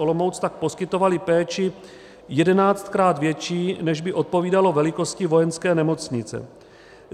Olomouc tak poskytovali péči jedenáctkrát větší, než by odpovídalo velikosti Vojenské nemocnice.